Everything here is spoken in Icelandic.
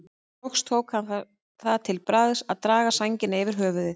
Loks tók hann það til bragðs að draga sængina yfir höfuðið.